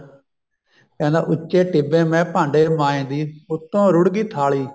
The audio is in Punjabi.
ਕਹਿੰਦਾ ਉੱਚੇ ਟਿੱਬੇ ਮੈ ਭਾਂਡੇ ਮਾਂਝਦੀ ਉੱਤੋ ਰੁੜ੍ਹਗੀ ਥਾਲੀ